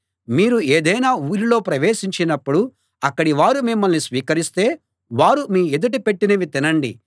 మీరు ఏదైనా ఊరిలో ప్రవేశించినప్పుడు అక్కడి వారు మిమ్మల్ని స్వీకరిస్తే వారు మీ ఎదుట పెట్టినవి తినండి